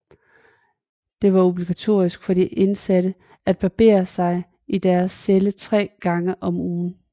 Det var obligatorisk for de indsatte at barbere sig i deres celler tre gange om ugen